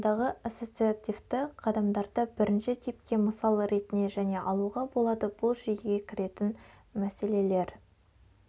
қойғандағы ассоциативті қадамдары бірінші типке мысал ретіне және алуға болады бұл жүйеге кіретін мәселелер